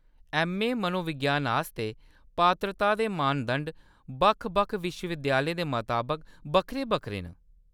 MA. मनोविज्ञान आस्तै पात्रता दे मानदंड बक्ख-बक्ख विश्वविद्यालयें दे मताबक बक्खरे-बक्खरे न।